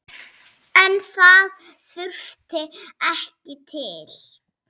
En það þurfti ekki til.